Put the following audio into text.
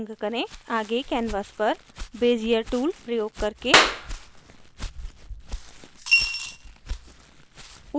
आगे कैनवास पर bezier tool प्रयोग करके